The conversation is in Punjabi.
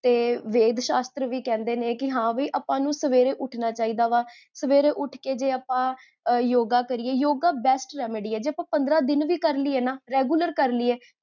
ਤੇ ਵੇਦ ਸ਼ਾਸਤ੍ਰ ਵੀ ਕਹੰਦੇ ਨੇ ਕੀ ਹਾਂ ਬੀ, ਆਪਾਂ ਨੂ ਸਵੇਰੇ ਉਠਣਾ ਚਾਹਿਦਾ ਵਾ, ਸਵੇਰੇ ਉਠ ਕੇ, ਜੇ ਆਪਾ yoga ਕਰੀਏ, yoga best remedy ਹੈ ਜੇ ਆਪਾਂ ਪੰਦ੍ਰਹ ਦਿਨ ਵੀ ਕਰ੍ਲੀਏ ਨਾ, regular ਕਰ੍ਲੀਏ